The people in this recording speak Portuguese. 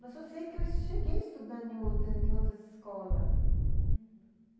Mas eu sei que eu cheguei a estudar em em outras escolas, uhum.